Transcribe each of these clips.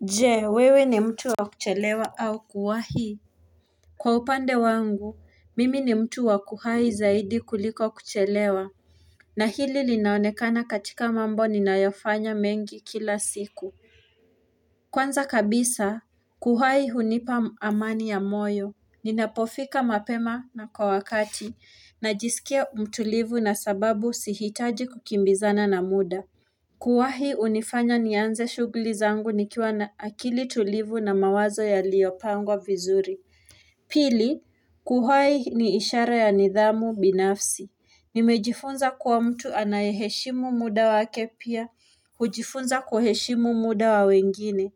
Je wewe ni mtu wa kuchelewa au kuwahi Kwa upande wangu mimi ni mtu wa kuwahi zaidi kuliko kuchelewa na hili linaonekana katika mambo ninayofanya mengi kila siku Kwanza kabisa kuhahi hunipa amani ya moyo Ninapofika mapema na kwa wakati najisikia mtulivu na sababu sihitaji kukimbizana na muda Kuwahi hunifanya nianze shughuli zangu nikiwa na akili tulivu na mawazo yaliyopangwa vizuri. Pili, kuwahi ni ishara ya nidhamu binafsi. Nimejifunza kuwa mtu anayeheshimu muda wake pia, hujifunza kuheshimu muda wa wengine.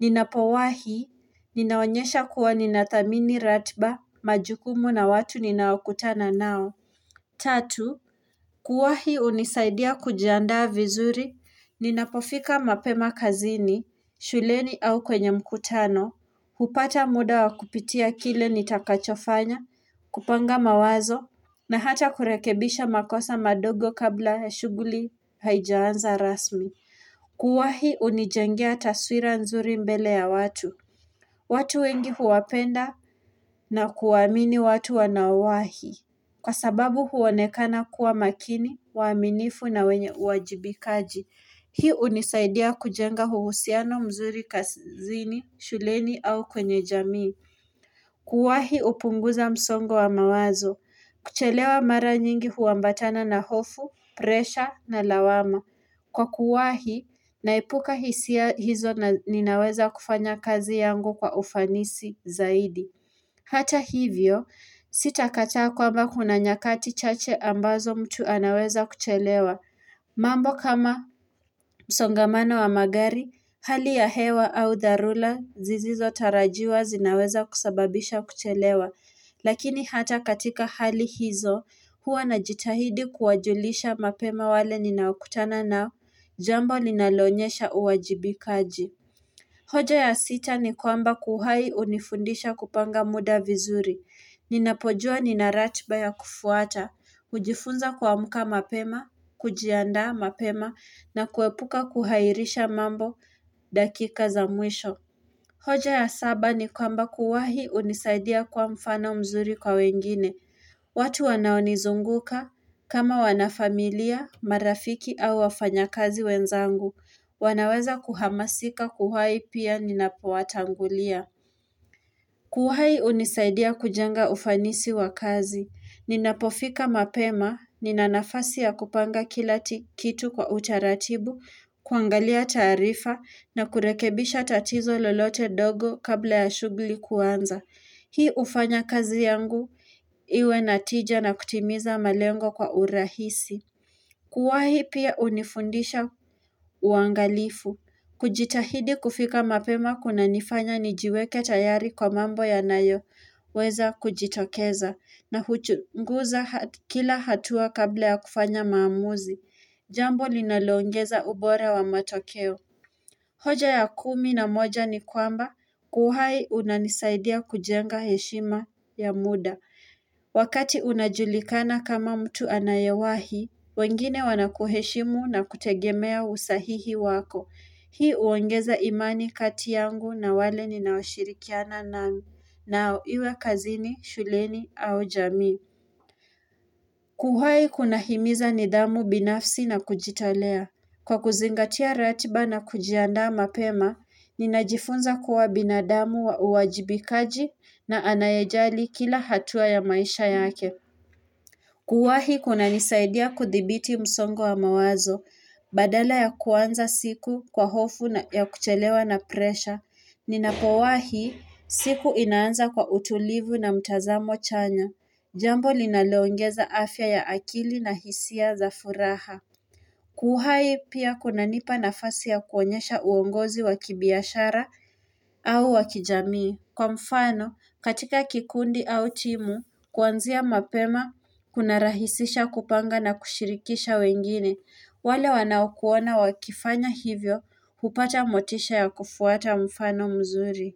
Ninapowahi, ninaonyesha kuwa ninathamini ratiba, majukumu na watu ninaokutana nao. Tatu, kuwahi hunisaidia kujiandaa vizuri, ninapofika mapema kazini, shuleni au kwenye mkutano, hupata muda wa kupitia kile nitakachofanya, kupanga mawazo, na hata kurekebisha makosa madogo kabla shughuli haijaanza rasmi. Kuwahi hunijengea taswira nzuri mbele ya watu. Watu wengi huwapenda na kuwaamini watu wanaowahi. Kwa sababu huonekana kuwa makini, waaminifu na wenye uwajibikaji. Hii hunisaidia kujenga uhusiano mzuri kazini, shuleni au kwenye jamii. Kuwahi hupunguza msongo wa mawazo. Kuchelewa mara nyingi huambatana na hofu, presha na lawama. Kwa kuwahi, naepuka hisia hizo na ninaweza kufanya kazi yangu kwa ufanisi zaidi. Hata hivyo, sitakataa kwamba kuna nyakati chache ambazo mtu anaweza kuchelewa. Mambo kama msongamano wa magari, hali ya hewa au dharura zisizo tarajiwa zinaweza kusababisha kuchelewa. Lakini hata katika hali hizo, huwa najitahidi kuwajulisha mapema wale ninaokutana nao, jambo ninaloonyesha uwajibikaji. Hoja ya sita ni kwamba kuwahi hunifundisha kupanga muda vizuri. Ninapojua nina ratiba ya kufuata, hujifunza kuamka mapema, kujiandaa mapema, na kuepuka kuhairisha mambo dakika za mwisho. Hoja ya saba ni kwamba kuwahi hunisaidia kuwa mfano mzuri kwa wengine. Watu wanaonizunguka kama wanafamilia, marafiki au wafanya kazi wenzangu. Wanaweza kuhamasika kuwahi pia ninapo watangulia. Kuwahi hunisaidia kujenga ufanisi wa kazi. Ninapofika mapema, nina nafasi ya kupanga kila kitu kwa utaratibu, kuangalia taarifa na kurekebisha tatizo lolote ndogo kabla ya shughuli kuanza Hii hufanya kazi yangu Iwe na tija na kutimiza malengo kwa urahisi Kuwahi pia hunifundisha uangalifu kujitahidi kufika mapema kunanifanya nijiweke tayari kwa mambo yanayo weza kujitokeza na huchunguza kila hatua kabla ya kufanya maamuzi Jambo linalongeza ubora wa matokeo. Hoja ya kumi na moja ni kwamba, kuwahi unanisaidia kujenga heshima ya muda. Wakati unajulikana kama mtu anayewahi, wengine wanakuheshimu na kutegemea usahihi wako. Hii huongeza imani kati yangu na wale ninaoshirikiana nami, nao iwe kazini, shuleni au jamii. Kuwahi kunahimiza nidhamu binafsi na kujitolea. Kwa kuzingatia ratiba na kujiandaa mapema, ninajifunza kuwa binadamu wa uwajibikaji na anayejali kila hatua ya maisha yake. Kuwahi kunanisaidia kuthibiti msongo wa mawazo, badala ya kuanza siku kwa hofu ya kuchelewa na presha, ninapowahi siku inaanza kwa utulivu na mtazamo chanya. Jambo linaloongeza afya ya akili na hisia za furaha. Kuwahi pia kuna nipa nafasi ya kuonyesha uongozi wa kibiashara au wa kijamii Kwa mfano katika kikundi au timu kuanzia mapema kunarahisisha kupanga na kushirikisha wengine wale wanao kuona wakifanya hivyo hupata motisha ya kufuata mfano mzuri.